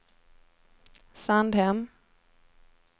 Sandhem